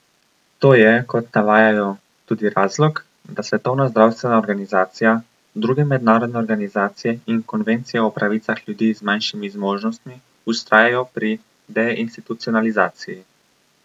To je, kot navajajo, tudi razlog, da Svetovna zdravstvena organizacija, druge mednarodne organizacije in konvencija o pravicah ljudi z manjšimi zmožnostmi vztrajajo pri deinstitucionalizaciji.